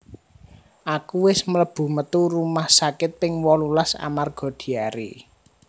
Aku wis melebu metu rumah sakit ping wolulas amarga diare